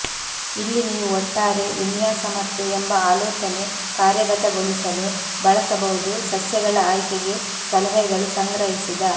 ಇಲ್ಲಿ ನೀವು ಒಟ್ಟಾರೆ ವಿನ್ಯಾಸ ಮತ್ತು ಎಂಬ ಆಲೋಚನೆ ಕಾರ್ಯಗತಗೊಳಿಸಲು ಬಳಸಬಹುದು ಸಸ್ಯಗಳ ಆಯ್ಕೆಗೆ ಸಲಹೆಗಳು ಸಂಗ್ರಹಿಸಿದ